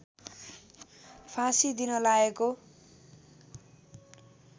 फाँसी दिन लागेको